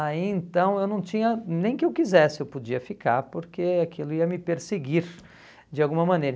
Aí então eu não tinha, nem que eu quisesse eu podia ficar, porque aquilo ia me perseguir de alguma maneira.